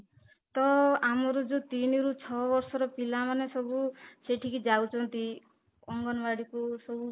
ତ ଆମର ଯୋଉ ତିନି ରୁ ଛଅ ବର୍ଷ ର ପିଲା ମାନେ ସବୁ ସେଠିକି ଯାଉଛନ୍ତି ଅଙ୍ଗନବାଡ଼ିକୁ ସବୁ